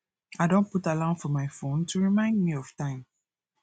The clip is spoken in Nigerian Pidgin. i don put alarm for my phone to remind me of time